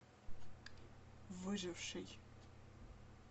выживший